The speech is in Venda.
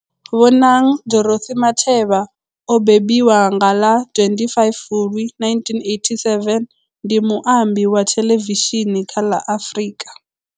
Bonang Dorothy Matheba o bembiwa nga ḽa 25 Fulwi 1987, ndi muambi wa theḽevishini kha ḽa Afrika.